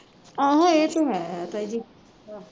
ਆਹੋ ਇਹ ਤੇ ਹੈ ਤਾਈ ਜੀ